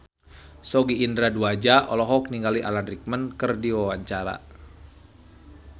Sogi Indra Duaja olohok ningali Alan Rickman keur diwawancara